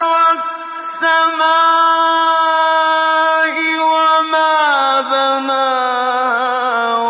وَالسَّمَاءِ وَمَا بَنَاهَا